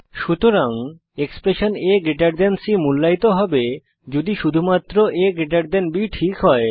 সুতরাং এক্সপ্রেশন আ সি মূল্যায়িত হবে যদি শুধুমাত্র আ বি ঠিক হয়